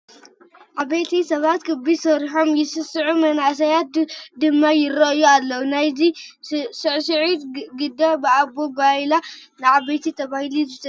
ዓበይቲ ሰባት ክቢ ሰሪሖም ይስዕስዑ መናእሰያት ድማ ይሪኡ ኣለዉ፡፡ እዚ ናይ ስዕስዒት ግደ ብኦቦ ጓይላ ናይ ዓበይቲ ተባሂሉ ዝተፀውዓ እዩ ዝመስል፡፡